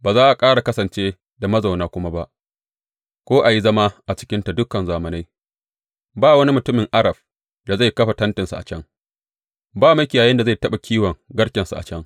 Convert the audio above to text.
Ba za ƙara kasance da mazauna kuma ba ko a yi zama a cikinta dukan zamanai; Ba wani mutumin Arab da zai kafa tentinsa a can, ba makiyayin da zai taɓa kiwon garkensa a can.